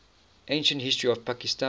ancient history of pakistan